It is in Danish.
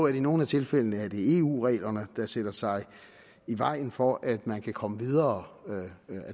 i nogle af tilfældene er det eu reglerne der stiller sig i vejen for at man kan komme videre ad